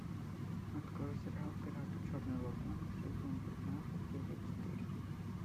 открой сериал пираты черной лагуны сезон пятнадцать серия четыре